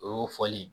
O y'o fɔli ye